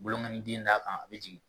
Bolonkɔniden d'a kan a bɛ jigin